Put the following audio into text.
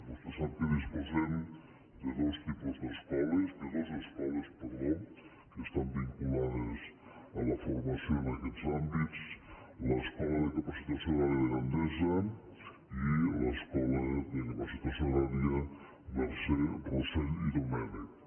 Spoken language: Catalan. vostè sap que disposem de dos escoles que estan vinculades a la formació en aquests àmbits l’escola de capacitació agrària de gandesa i l’escola de capacitació agrària mercè rossell i domènech